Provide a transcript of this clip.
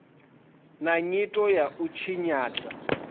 na nyito ya u tshinyadza